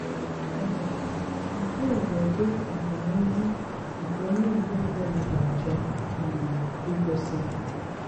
um Nkè á bụ́ ụ̀dí ọ́gáníhù nké ónyè Ìgbò ọ̀bùlá gà-àchọ́ um ígósí.